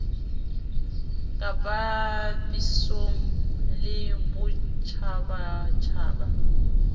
ka bapiswang le a botjhabatjhaba